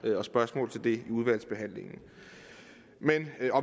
og spørgsmål til det i udvalgsbehandlingen